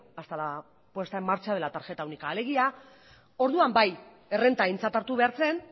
hasta la puesta en marcha de la tarjeta única alegia orduan bai errenta aintzat hartu behar zen